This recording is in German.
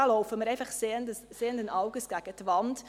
Wir laufen einfach sehenden Auges gegen die Wand.